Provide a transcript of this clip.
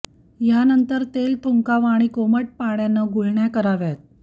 यानंतर तेल थुंकावं आणि कोमट पाण्यानं गुळण्या कराव्यात